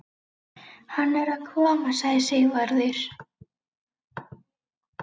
Hann er að koma, sagði Sigvarður.